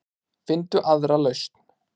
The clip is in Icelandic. Finndu aðra lausn.